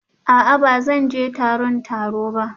A'a ba zan je taron taro ba